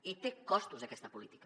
i té costos aquesta política